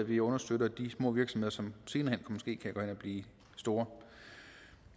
vi understøtter de små virksomheder som og blive store